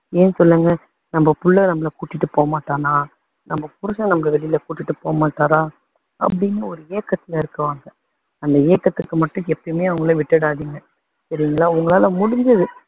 ஏன் சொல்லுங்க, நம்ம புள்ள நம்மளை கூட்டிட்டு போக மாட்டானா, நம்ம புருஷன் நம்மளை வெளியில கூட்டிட்டு போக மாட்டாரா, அப்படின்னு ஒரு ஏக்கத்துல இருப்பாங்க. அந்த ஏக்கத்துக்கு மட்டும் எப்பயுமே அவங்களை விட்டுடாதீங்க. சரிங்களா. உங்களால முடிஞ்சது.